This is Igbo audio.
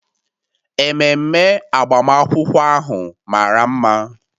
Ememe agbamakwụkwọ ahụ mara mma.